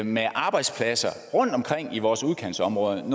med arbejdspladser rundtomkring i vores udkantsområder